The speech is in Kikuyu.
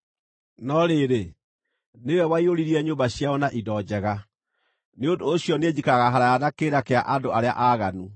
No rĩrĩ, nĩwe waiyũririe nyũmba ciao na indo njega, nĩ ũndũ ũcio niĩ njikaraga haraaya na kĩrĩra kĩa andũ arĩa aaganu.